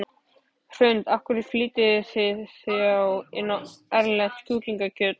Hrund: Af hverju flytjið þið þá inn erlent kjúklingakjöt?